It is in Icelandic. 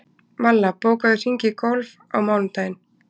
Malla, bókaðu hring í golf á mánudaginn.